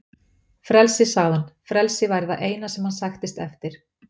Frelsi, sagði hann, frelsi væri það eina sem hann sæktist eftir.